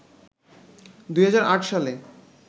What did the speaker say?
২০০৮ সালে